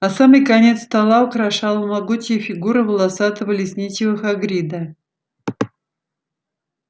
а самый конец стола украшала могучая фигура волосатого лесничего хагрида